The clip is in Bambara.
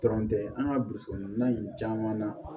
Dɔrɔn tɛ an ka burusi kɔnɔna in caman na